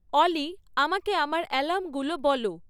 অলি আমাকে আমার অ্যালার্মগুলো বল